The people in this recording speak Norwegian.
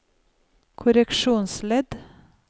korreksjonsledd